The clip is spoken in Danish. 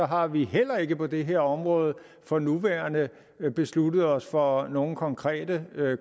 har vi heller ikke på det her område for nærværende besluttet os for nogle konkrete